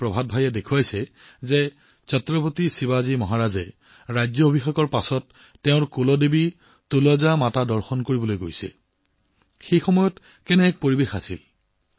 শিল্পী প্ৰভাত ভায়ে দেখুৱাইছিল যে ছত্ৰপতি শিৱাজী মহাৰাজে ৰাজ অভিষেকৰ পাছত তেওঁৰ কুলদেৱী তুলজা মাতা দৰ্শন কৰিবলৈ ওলাইছে গতিকে সেই সময়ত কি পৰিবেশ আছিল